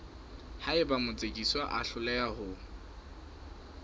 haeba motsekiswa a hloleha ho